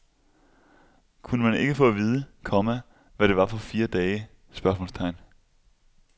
Kunne man ikke få at vide, komma hvad det var for fire dage? spørgsmålstegn